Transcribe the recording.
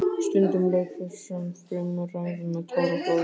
Stundum lauk þessum þrumuræðum með táraflóði.